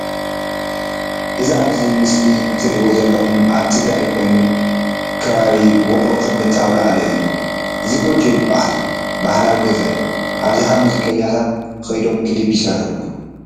እዚ ብምስሊ ትሪእዎ ዘለኩም ኣብ ትግራይ ኮይኑ ክበብ ውቅሮ ክልተ ኣውልዕሎ እዩ እዚ ጎጆ ይበሀል ባህላዊ ገዛ እዩ ኣብዝሓ ሙዚቀኛታት ክይዶም ክሊፕ ይስርሑሉ ።